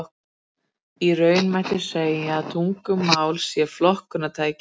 Í raun mætti segja að tungumál sé flokkunartæki.